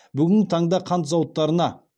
бүгінгі таңда қант зауыттарына